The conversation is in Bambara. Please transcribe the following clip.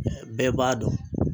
Mɛ bɛɛ b'a dɔn